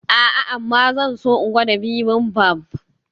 A'a amma zan so in gwada bibimbap.